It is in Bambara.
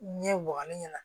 Ɲɛ wɔɔrɔ ɲinɛna